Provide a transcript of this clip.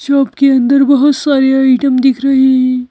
Shop के अंदर बहुत सारे आइटम दिख रहे हैं।